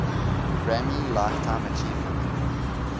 grammy lifetime achievement